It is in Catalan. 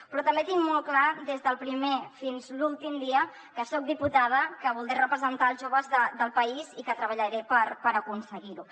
però també tinc molt clar des del primer fins l’últim dia que soc diputada que voldré representar els joves del país i que treballaré per aconseguir ho